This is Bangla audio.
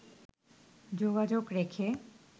যোগাযোগ রেখে